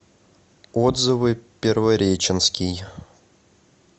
отзывы первореченский